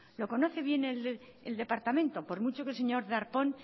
lo conoce bien el departamento por mucho que el señor darpón